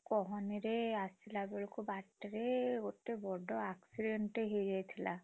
କହନିରେ ଆସିଲାବେଳକୁ ବାଟରେ ଗୋଟେ ବଡ accident ଟେ ହେଇଯାଇଥିଲା।